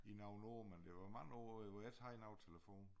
I nogle år men der var mange år hvor jeg ikke have nogen telefon